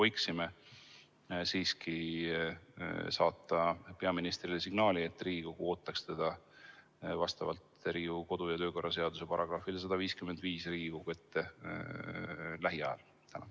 Kas me võiksime siiski saata peaministrile signaali, et Riigikogu ootab teda vastavalt Riigikogu kodu- ja töökorra seaduse §-le 155 Riigikogu ette lähiajal?